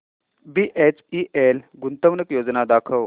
BHEL गुंतवणूक योजना दाखव